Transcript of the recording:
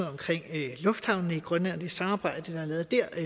omkring lufthavnene i grønland og det samarbejde der er lavet dér